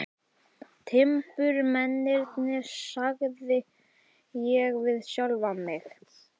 Timburmennirnir, sagði ég við sjálfan mig.